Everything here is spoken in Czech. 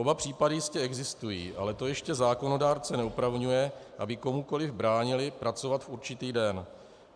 Oba případy jistě existují, ale to ještě zákonodárce neopravňuje, aby komukoliv bránili pracovat v určitý den.